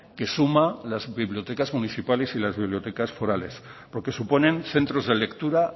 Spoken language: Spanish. que suma las bibliotecas municipales y las bibliotecas forales porque suponen centros de lectura